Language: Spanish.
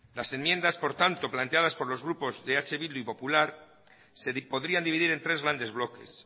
las enmiendas planteadas por los grupos de eh bildu y popular se podría dividir en tres grandes bloques